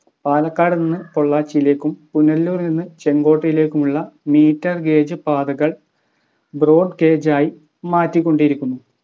പാലക്കാട് നിന്ന് പൊള്ളാച്ചിയിലേക്കും പുനലൂർ നിന്ന് ചെങ്കോട്ടയിലേക്കുമുള്ള Meter gauge പാതകൾ Broad gauge ആയി മാറ്റിക്കൊണ്ടിരിക്കുന്നു